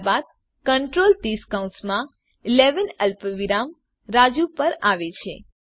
ત્યારબાદ control this કૌંસમાં 11 અલ્પવિરામ રાજુ પર આવે છે